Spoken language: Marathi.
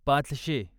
पाचशे